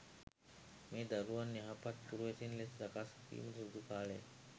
මේ දරුවන් යහපත් පුරවැසියන් ලෙස සකස් වීමට සුදුසු කාලය.